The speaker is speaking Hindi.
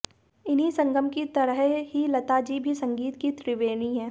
इन्हीं संगम की तरह ही लताजी भी संगीत की त्रिवेणी हैं